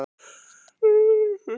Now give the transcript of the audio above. Erla: Ertu stressaður?